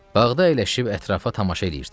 Bağda əyləşib ətrafa tamaşa eləyirdim.